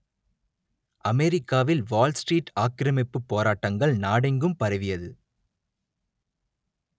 அமெரிக்காவில் Wall Street ஆக்கிரமிப்பு போராட்டங்கள் நாடெங்கும் பரவியது